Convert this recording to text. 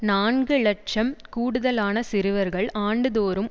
நான்கு இலட்சம் கூடுதலான சிறுவர்கள் ஆண்டுதோறும்